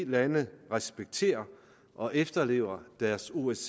lande respekterer og efterlever deres osce